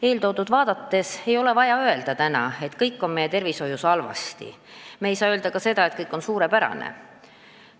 Eeltoodut vaadates ei ole vaja täna öelda, et kõik on meie tervishoius halvasti, aga me ei saa öelda ka seda, et kõik on suurepärane.